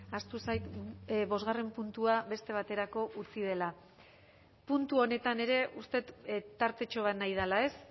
ahaztu zait bosgarren puntua beste baterako utzi dela puntu honetan ere uste dut tartetxo bat nahi dela ez